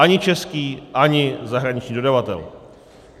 Ani český, ani zahraniční dodavatel.